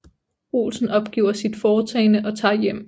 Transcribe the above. Olsen opgiver sit foretagende og tager hjem